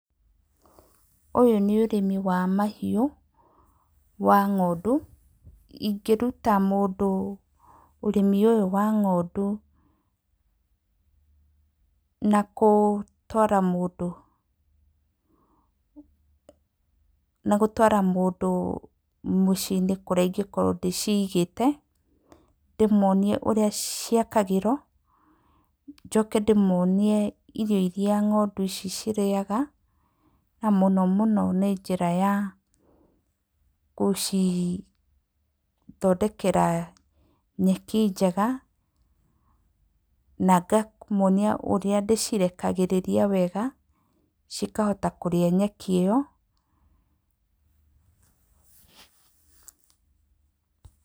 Ũyũ nĩ ũrĩmi wa mahiũ wa ng'ondu. Ingĩruta mũndũ ũrĩmi ũyũ wa ng'ondu na gũtwara mũndũ na gũtwara mũndũ mũciĩ-inĩ kũrĩa ingĩkorwo ndĩciigĩte. Ndĩmonie ũrĩa ciakagĩrwo, njoke ndĩmonie irio irĩa ng'ondu ici cirĩaga na mũno mũno nĩ njĩra ya gũcithondekera nyeki njega. Na ngamuonia ũrĩa ndĩcirekagĩrĩria wega cikahota kũrĩa nyeki ĩyo.